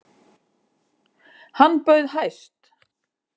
Hann bauð hæst.